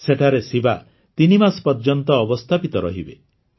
ସେଠାରେ ଶିବା ତିନିମାସ ପର୍ଯ୍ୟନ୍ତ ଅବସ୍ଥାପିତ ରହିବେ